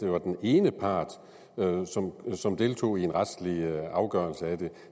var den ene part som som deltog i en retslig afgørelse af den